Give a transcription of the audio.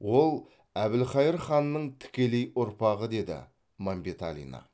ол әбілқайыр ханның тікелей ұрпағы деді мәмбеталина